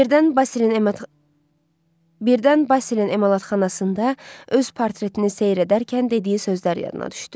Birdən Basilin emalatxanasında öz portretini seyr edərkən dediyi sözlər yadına düşdü.